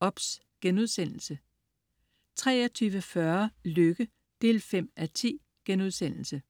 OBS* 23.40 Lykke 5:10*